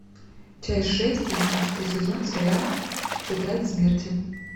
часть шесть одиннадцатый сезон сериала тетрадь смерти